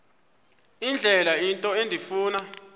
indlela into endifuna